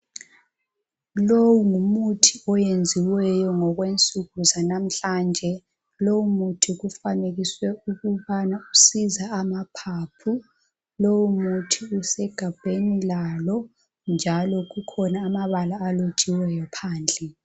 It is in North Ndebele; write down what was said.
Lowu ngumuthi oyenziweyo ngokwensuku zanamhlanje. Lowu muthi ufanekiswe ukubana usiza amaphaphu .Lowu muthi usegabheni lalo njalo kukhona amabala alotshiweyo phandle.